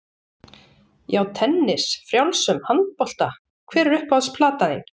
Já, tennis, frjálsum, handbolta Hver er uppáhalds platan þín?